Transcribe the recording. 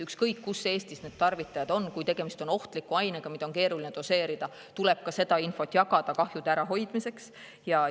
Ükskõik, kus Eestis tarvitajad on, kui tegemist on ohtliku ainega, mida on keeruline doseerida, siis tuleb seda infot kahjude ärahoidmiseks jagada.